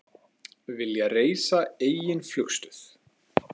Vilja reisa eigin flugstöð